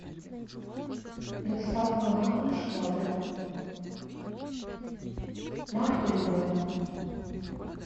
доставка на дом швабры марка любая